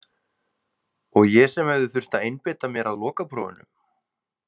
Og ég sem hefði þurft að einbeita mér að lokaprófinu.